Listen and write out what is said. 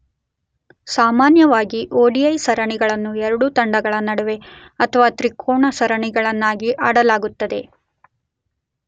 ಸಾಮಾನ್ಯವಾಗಿ ಒಡಿಐ ಸರಣಿಗಳನ್ನು 2 ತಂಡಗಳ ನಡುವೆ ಅಥವಾ ತ್ರಿಕೋನ, ಸರಣಿಗಳಾಗಿ ಆಡಲಾಗುತ್ತದೆ.